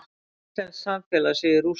Íslenskt samfélag sé í rústum.